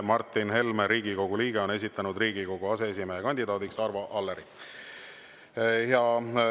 Martin Helme, Riigikogu liige, on esitanud Riigikogu aseesimehe kandidaadiks Arvo Alleri.